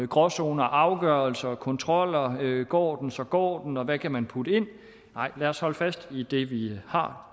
gråzoner afgørelser og kontroller går den så går den og hvad kan man putte ind nej lad os holde fast i det vi har